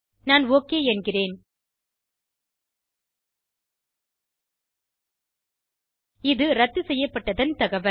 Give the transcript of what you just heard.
நான் ஒக் என்கிறேன் இது இரத்து செய்யப்பட்டதன் தகவல்